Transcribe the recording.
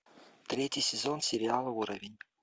третий сезон сериала уровень